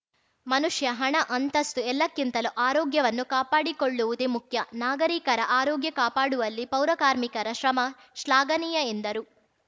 ಮನುಷ್ಯ ಹಣ ಅಂತಸ್ತು ಎಲ್ಲಕಿಂತಲೂ ಆರೋಗ್ಯವನ್ನು ಕಾಪಾಡಿಕೊಳ್ಳುವುದೇ ಮುಖ್ಯ ನಾಗರಿಕರ ಆರೋಗ್ಯ ಕಾಪಾಡುವಲ್ಲಿ ಪೌರರ್ಮಿಕರ ಶ್ರಮ ಶ್ಲಾಘನೀಯ ಎಂದರು